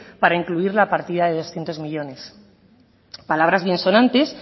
para incluir la partida de doscientos millónes palabras biensonantes